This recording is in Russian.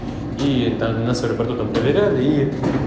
и нас в аэропорту проверяли и